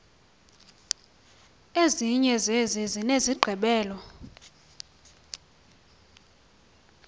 ezinye zezi zinesigqibelo